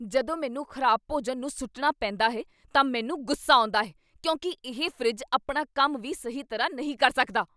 ਜਦੋਂ ਮੈਨੂੰ ਖ਼ਰਾਬ ਭੋਜਨ ਨੂੰ ਸੁੱਟਣਾ ਪੈਂਦਾ ਹੈ ਤਾਂ ਮੈਨੂੰ ਗੁੱਸਾ ਆਉਂਦਾ ਹੈ ਕਿਉਂਕਿ ਇਹ ਫਰਿੱਜ ਆਪਣਾ ਕੰਮ ਵੀ ਸਹੀ ਤਰ੍ਹਾਂ ਨਹੀਂ ਕਰ ਸਕਦਾ!